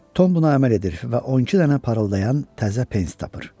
Tom buna əməl edir və 12 dənə parıldayan təzə pens tapır.